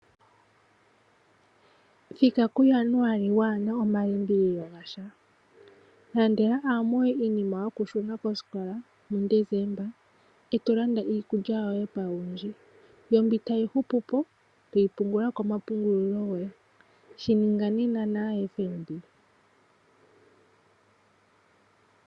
Thika kuJanuali wa na omalimbililo gasha , landela aamoye iinima yokushuna koositola muDesemba, e to landa iikulya yoye pauwindji. Mbyoka tayi hupuko toyi pungulile komapungulo goye . Shi ninga nena naFNB.